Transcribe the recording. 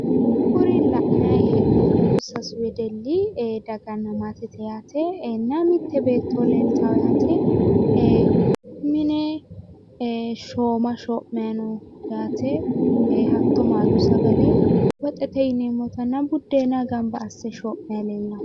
Kuri la'nayi hee'noommohu sasu wedelli ee daganna maatetenna mitte beetto leeltawo yaate ee mine ee shooma shoo'mayi noo yaate hatto maalu sagale woxete yineemmotanna buddeena gamba asse shoo'mayi leellanno